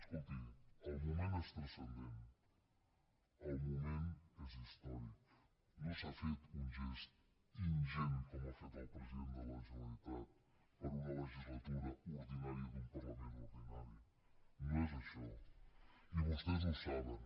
escolti el moment és transcendent el moment és històric no s’ha fet un gest ingent com ha fet el president de la generalitat per una legislatura ordinària d’un parlament ordinari no és això i vostès ho saben